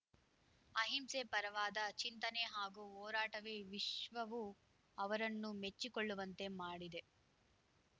ಅಹಿಂಸೆ ಪರವಾದ ಚಿಂತನೆ ಹಾಗೂ ಹೋರಾಟವೇ ವಿಶ್ವವು ಅವರನ್ನು ಮೆಚ್ಚಿಕೊಳ್ಳುವಂತೆ ಮಾಡಿದೆ